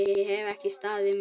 Ég hef ekki staðið mig!